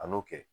An n'o kɛ